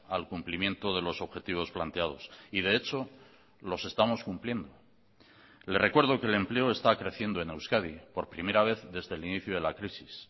al cumplimiento de los objetivos planteados y de hecho los estamos cumpliendo le recuerdo que el empleo está creciendo en euskadi por primera vez desde el inicio de la crisis